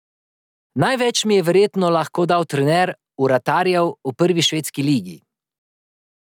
Največ mi je verjetno lahko dal trener vratarjev v prvi švedski ligi.